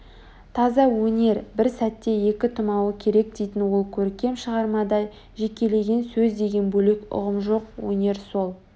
таза өнер бір сәтте екі тумауы керек дейтін ол көркем шығармада жекелеген сөз деген бөлек ұғым жоқ өнер сол